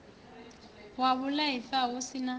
wa vhulaifa hu si na